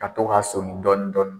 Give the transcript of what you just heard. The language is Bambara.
Ka to k'a soni dɔɔnin dɔɔnin